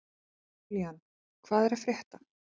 Julian, hvað er að frétta?